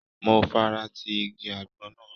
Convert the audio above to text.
Mo fara ti igi àgbọn náà.